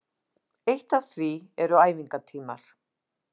Eitt af því eru æfingatímar